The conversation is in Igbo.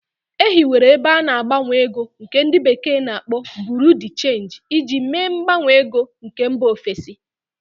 E hiwere ebe ana-agbanwe ego nke ndi bekee na-akpo Buru di Change iji mee mgbanwe ego nke mba ofesi.